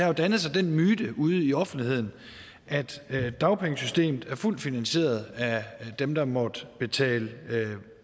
jo dannet sig den myte ude i offentligheden at dagpengesystemet er fuldt finansieret af dem der måtte betale